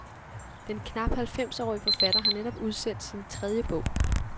Den knap halvfemsårige forfatter har netop udsendt sin tredje bog.